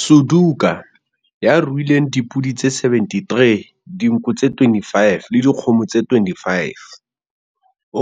Suduka, ya ruileng le dipodi tse 73, dinku tse 25 le dikgomo tse 25,